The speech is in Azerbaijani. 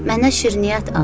Mənə şirniyyat al.